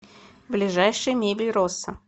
ближайший мебель росса